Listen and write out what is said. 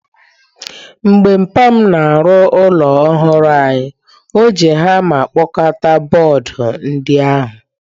Mgbe mpa m na-arụ ụlọ ọhụrụ anyị, o ji hama kpọkọta bọọdụ ndi ahu.